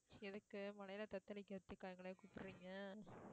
எதுக்கு மழையிலே தத்தளிக்கிறதுக்கா எங்களை கூப்பிடுறீங்க